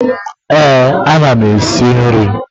Eh, a na m esi nri.